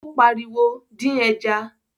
Óní pa ariwo: dín ẹja